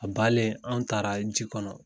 A banɛ an taara ji kɔnɔ